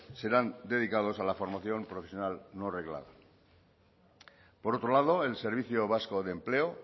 serán dedicados a la formación profesional no reglada por otro lado el servicio vasco de empleo